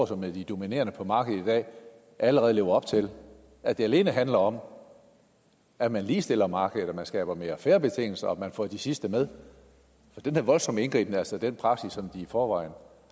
som er de dominerende på markedet i dag allerede lever op til at det alene handler om at man ligestiller markedet at man skaber mere fair betingelser og at man får de sidste med at den her voldsomme indgriben altså er den praksis som de i forvejen